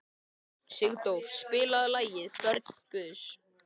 Sigdór, spilaðu lagið „Börn Guðs“.